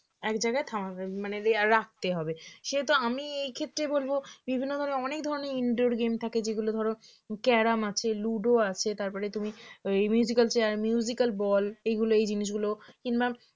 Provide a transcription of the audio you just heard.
এক জায়গায় থামাবে উম মানে আমায় রাখতে হবে সে তো আমি এই ক্ষেত্রে বলবো বিভিন্ন ধরনের অনেক ধরনের indoor game থাকে যেগুলো ধরো ক্যারম আছে লুডো আছে তারপরে তুমি ওই al chair musical ball এইগুলো এই জিনিসগুলো কিংবা